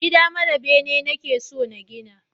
Gida mara bene nake so na gina